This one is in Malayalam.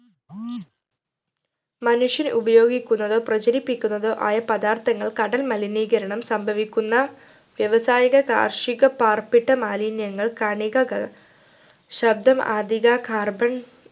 മനുഷ്യർ ഉപയോഗിക്കുന്നതോ പ്രചരിപ്പിക്കുന്നതോ ആയ പദാർത്ഥങ്ങൾ കടൽ മലിനീകരണം സംഭവിക്കുന്ന വ്യവസായിക കാർഷിക പാർപ്പിട മാലിന്യങ്ങൾ കണികകൾ ശബ്ദം അധിക carbon